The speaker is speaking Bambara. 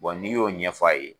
Bon n'i y'o ɲɛfɔ a ye.